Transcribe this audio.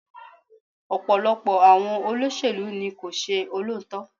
Ọ̀pọ̀lọpọ̀ àwọn olóṣèlú ni kò ṣe olóòótọ́.